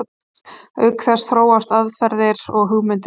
Auk þess þróast aðferðir og hugmyndir ört.